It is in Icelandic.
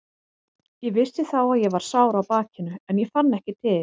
Ég vissi þá að ég var sár á bakinu en ég fann ekki til.